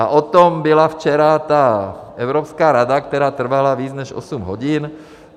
A o tom byla včera ta Evropská rada, která trvala víc než osm hodin.